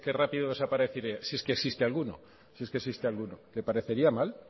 rápido desaparecería si es que existe alguno si es que existe alguno le parecería mal